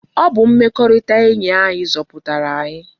Ọ bụ mmekọrịta enyi anyi zọpụtara anyi.